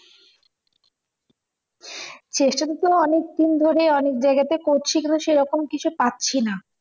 চেষ্টাতো অনেক দিন ধরে অনেক জায়গাতে করছি কিন্তু সেইরকম কিছু পাচ্ছিনা